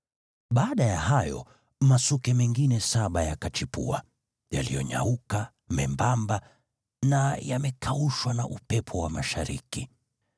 Baada ya hayo masuke mengine saba yakachipua, yaliyonyauka, membamba na yamekaushwa na upepo wa mashariki.